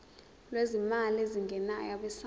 lwezimali ezingenayo abesouth